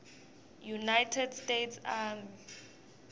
united states army